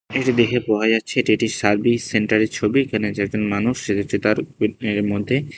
এইটা দেইখে বোঝা যাচ্ছে এইটা একটি সার্ভিস সেন্টারের ছবি এইখানে এই যে একজন মানুষ সে হচ্ছে তার এর মধ্যে।